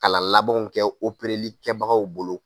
Kalan labanw kɛ opereli kɛbagaw bolo.